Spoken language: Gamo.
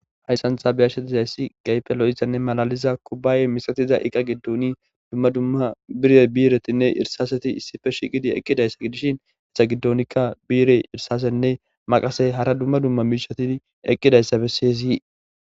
hayssantha biyashetizayssi gaypelo7izanne malaliza kubbaye misatiza iqa giddooni dumma dumma bire biiretinne irsaseti issife shiqidi eqqidayssa gidishin hessa giddonikka biire irsasenne maqasey hara dumma dumma miishatin eqqidayssabe sesi